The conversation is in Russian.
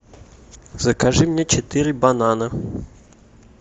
закажи мне четыре банана